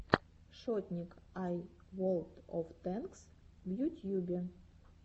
шотник ай волд оф тэнкс в ютьюбе